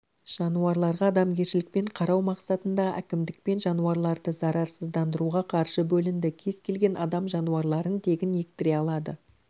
жануарларға адамгершілікпен қарау мақсатында әкімдікпен жануарларды зарарсыздандыруға қаржы бөлінді кез келген адам жануарларын тегін ектіре алады